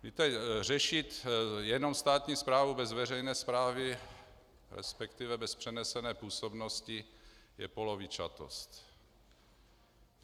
Víte, řešit jenom státní správu bez veřejné správy, respektive bez přenesené působnosti, je polovičatost.